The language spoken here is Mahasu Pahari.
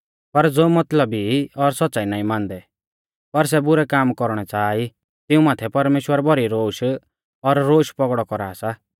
पर ज़ो मतलबी ई और सौच़्च़ाई नाईं मानदै पर सै बुरै काम कौरणै च़ाहा ई तिऊं माथै परमेश्‍वर भौरी रोश और रोश पौगड़ौ कौरा सा